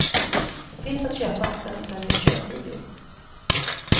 Finns att köpa där de säljer köpvideor.